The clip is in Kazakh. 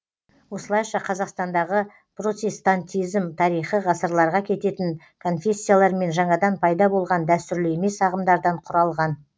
осылайша қазақстандағы протестантизм тарихы ғасырларға кететін конфессиялар мен жаңадан пайда болған дәстүрлі емес ағымдардан құралған